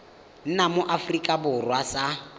nna mo aforika borwa sa